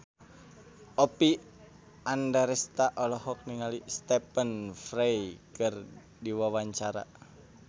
Oppie Andaresta olohok ningali Stephen Fry keur diwawancara